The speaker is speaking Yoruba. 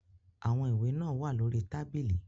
Àwọn ìwé náà wà lórí tábìlì.